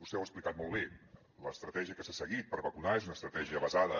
vostè ho ha explicat molt bé l’estratègia que s’ha seguit per vacunar és una estratègia basada